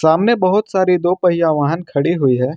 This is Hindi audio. सामने बहुत सारी दो पहिया वाहन खड़ी हुई है।